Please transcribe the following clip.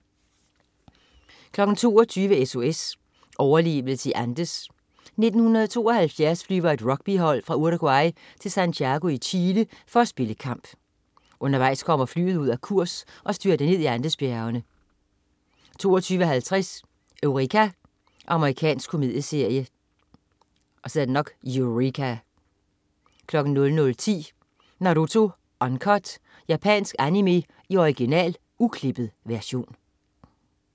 22.00 SOS: Overlevelse i Andes. 1972 flyver et rugbyhold fra Uruguay til Santiago i Chile for at spille kamp. Undervejs kommer flyet ud af kurs og styrter ned i Andesbjergene 22.50 Eureka. Amerikansk komedieserie 00.10 Naruto Uncut. Japansk animé i original, uklippet version